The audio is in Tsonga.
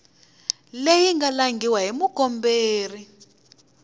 leyi nga langhiwa hi mukomberi